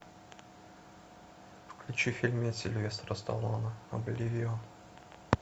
включи фильмец сильвестра сталлоне обливион